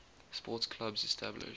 sports clubs established